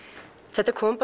þetta kom